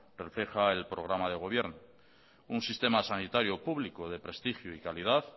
refleja el programa de gobierno un sistema sanitario público de prestigio y calidad